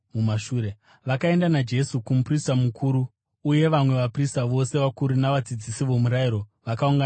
Vakaenda naJesu kumuprista mukuru, uye vamwe vaprista vose vakuru navadzidzisi vomurayiro vakaungana pamwe chete.